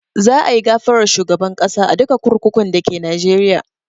Za a yi gafarar shugaban ƙasa a duka kurkukun dake Najeriya